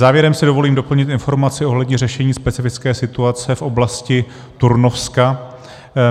Závěrem si dovolím doplnit informaci ohledně řešení specifické situace v oblasti Turnovska.